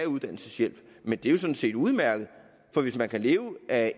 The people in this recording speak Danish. uddannelseshjælp men det er jo sådan set udmærket for hvis man kan leve af